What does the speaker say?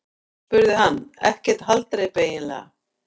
spurði hann: Ekkert haldreipi eiginlega.